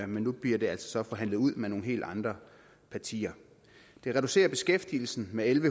men nu bliver det altså så forhandlet ud med nogle helt andre partier det reducerer beskæftigelsen med en